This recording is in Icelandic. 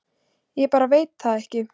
Ég bara veit það ekki